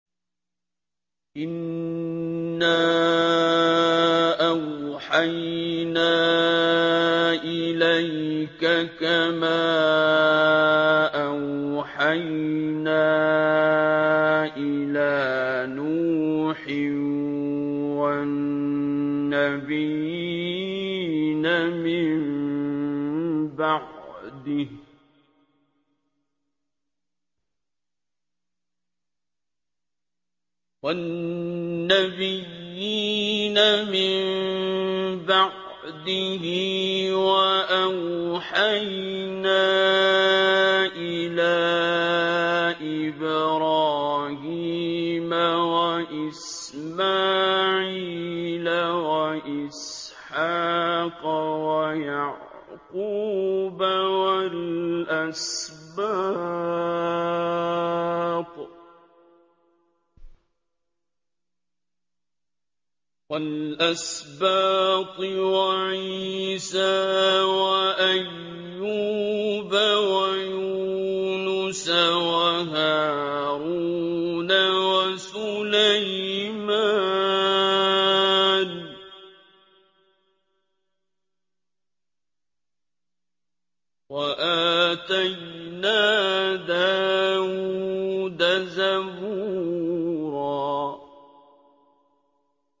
۞ إِنَّا أَوْحَيْنَا إِلَيْكَ كَمَا أَوْحَيْنَا إِلَىٰ نُوحٍ وَالنَّبِيِّينَ مِن بَعْدِهِ ۚ وَأَوْحَيْنَا إِلَىٰ إِبْرَاهِيمَ وَإِسْمَاعِيلَ وَإِسْحَاقَ وَيَعْقُوبَ وَالْأَسْبَاطِ وَعِيسَىٰ وَأَيُّوبَ وَيُونُسَ وَهَارُونَ وَسُلَيْمَانَ ۚ وَآتَيْنَا دَاوُودَ زَبُورًا